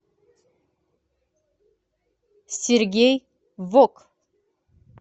сергей вок